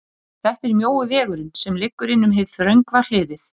þetta er mjói vegurinn, sem liggur inn um hið þröngva hliðið.